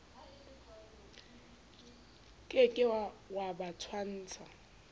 ke ke wa ba tshwantsha